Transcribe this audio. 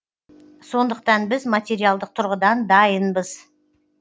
сондықтан біз материалдық тұрғыдан дайынбыз